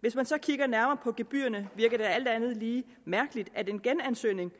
hvis man så kigger nærmere på gebyrerne virker det alt andet lige mærkeligt at en genansøgning